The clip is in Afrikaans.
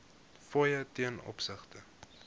fooie ten opsigte